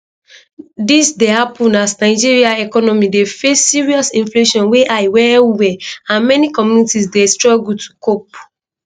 dis dey happun as nigeria economy dey face serious inflation wey high wellwell and many communities dey struggle to cope